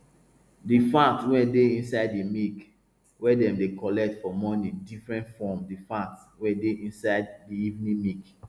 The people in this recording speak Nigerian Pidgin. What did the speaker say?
di fat wey dey inside di milk wey dem dey collect for morning different from di fat wey dey inside di evening milk